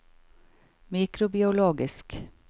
mikrobiologisk